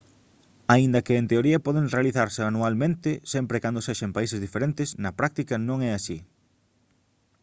aínda que en teoría poden realizarse anualmente sempre e cando sexa en países diferentes na práctica non é así